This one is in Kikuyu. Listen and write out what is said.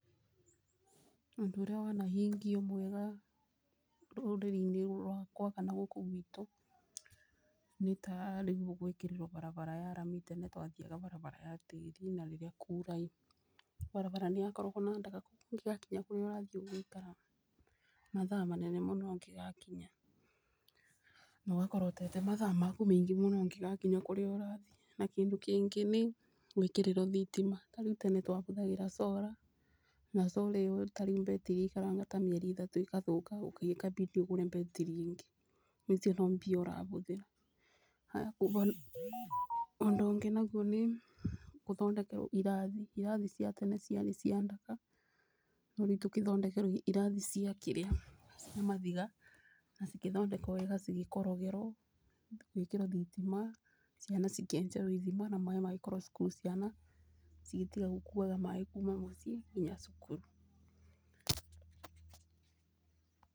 Ũndũ ũrĩa wanahingio mwega rũrĩrĩ-inĩ rwakwa kana gũkũ gwitũ, nĩ ta rĩu ũguo gwĩkĩrĩrwo bara ya rami, tene twithiaga barabara ya tĩĩri, na rĩrĩa kwaura barabara nĩyakoragwo na ndaka ũgĩgakinya kũrĩa ũrathiĩ ũgaikara mathaa manene mũno ũngĩgakinya, na ugakorwo ũtete mathaa maku maingĩ mũno ũngĩgakinya kũrĩa ũrathiĩ, na kĩndũ kĩngĩ nĩ gwĩkĩrĩrwo thitima, tarĩu tene twahũthagĩra coora, na coora ĩyo tarĩu mbetiri yaikaraga ta mĩeri ĩtatũ ikathũũka nĩngĩ ĩkambidi ũgũre mbetiri ĩngĩ, na icio no mbia ũrahũthĩra, ũndũ ũngĩ naguo nĩ gũthondekerwo irathi, irathi cia tene ciarĩ cia ndaka, no rĩu tũkĩthondekerwo irathi cia maviga, na cĩkĩthondekwo weega cigĩkorogerwo, igĩkĩrwo thitima, ciana cikĩenjerwo ithima na maĩĩ magĩkorwo cukuru ciana cigĩtiga gũkuaga maĩĩ kuuma mũciĩ nginya cukuru.